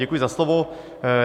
Děkuji za slovo.